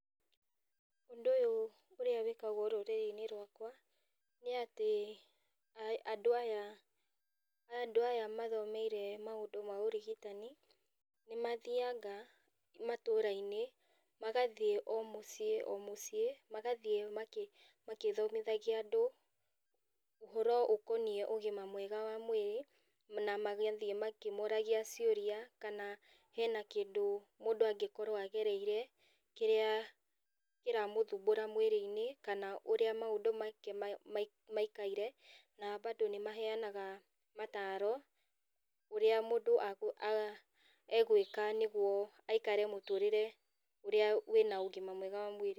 Ũndũ ũyũ ũrĩa wĩkagwo rũrĩrĩinĩ rwakwa nĩ atĩ andũ aya mathomeire maũndũ ma ũrigitani nĩmathianga matũrainĩ, magathiĩ o mũciĩ o mũciĩ. Magathiĩ magĩthomithagia andũ ũhoro ũkonie ũgima mwega wa mwĩrĩ, na magathiĩ makĩmoragia ciũria kana hena kĩndũ mũndũ angĩkorwo agereire, kĩrĩa kĩramũthumbũra mwĩrĩinĩ kana ũrĩa maũndũ make maikaire. Na badũ no maheyanaga mataro ũrĩa mũndũ agwĩka nĩguo aikare mũtũrĩre ũrĩa ũrĩ na ũgima mwega wa mwĩrĩ.